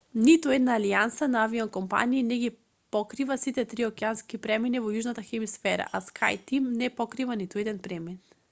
ниту една алијанса на авиокомпании не ги покрива сите три океански премини во јужната хемисфера а скајтим не покрива ниту еден премин